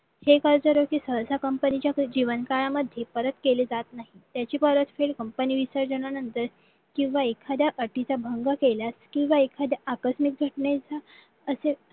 हे कर्जरोखी सहसा company च्या जेवण काळामध्ये परत केले जात नाही त्याची परतफेड company विसर्जनानंतर किंवा एखाद्या अटीचा भंग केल्यास किंवा एखाद्या अकस्मित घटने